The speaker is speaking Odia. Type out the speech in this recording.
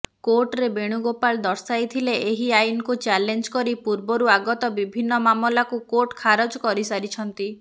କୋର୍ଟରେ ବେଣୁଗୋପାଳ ଦର୍ଶାଇଥିଲେ ଏହି ଆଇନ୍କୁ ଚ୍ୟାଲେଞ୍ଜ କରି ପୂର୍ବରୁ ଆଗତ ବିଭିନ୍ନ ମାମଲାକୁ କୋର୍ଟ ଖାରଜ କରିସାରିଛନ୍ତି